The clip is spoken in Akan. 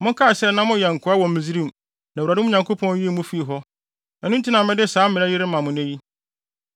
Monkae sɛ na moyɛ nkoa wɔ Misraim na Awurade, mo Nyankopɔn, yii mo fii hɔ. Ɛno nti na mede saa mmara yi rema mo nnɛ yi.